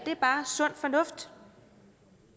sund fornuft